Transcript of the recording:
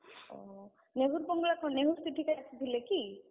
ଓ! ନେହୁରୁ ବଙ୍ଗଳା କଣ, ନେହୁରୁ ସେଠିକି ଆସିଥିଲେ କି?